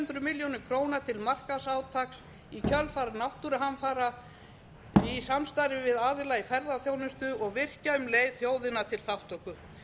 hundruð milljónum króna til markaðsátaks í kjölfar náttúruhamfara í samstarfi við aðila í ferðaþjónustu og virkja um leið þjóðina til þátttöku